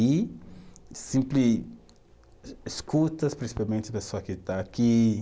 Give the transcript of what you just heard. E sempre escuta, principalmente a pessoa que está aqui.